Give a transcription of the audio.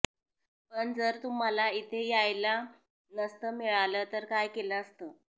पण जर तुम्हाला इथे यायला नसतं मिळालं तर काय केलं असतं